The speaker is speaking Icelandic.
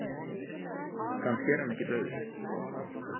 Kannski er hann ekki dauður.